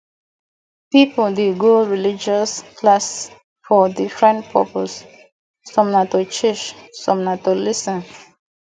pipo de go religious classes for different purpose some na to teach some na to lis ten